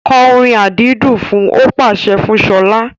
Kọ orin àdídùn fun! Ó pàṣẹ fún Ṣọlá.